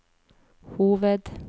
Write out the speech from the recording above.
hoved